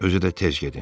Özü də tez gedin.